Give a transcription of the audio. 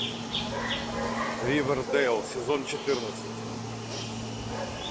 ривердэйл сезон четырнадцать